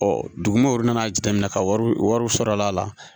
dugumɛnɛ wɔri nana jateminɛ ka wari sɔrɔ a la